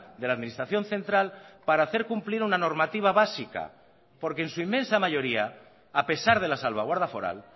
de la administración central para hacer cumplir una normativa básica porque en su inmensa mayoría a pesar de la salvaguarda foral